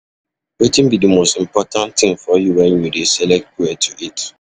Wetin be di most important thing for you when you dey select where to eat?